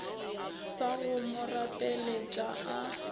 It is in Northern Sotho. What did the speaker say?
sa go mo rapeletša a